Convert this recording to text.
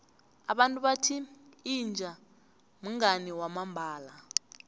abantu bathi inja mngani wamambala